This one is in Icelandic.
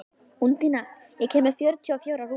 Úndína, ég kom með fjörutíu og fjórar húfur!